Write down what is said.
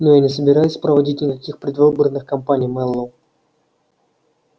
но я не собираюсь проводить никаких предвыборных кампаний мэллоу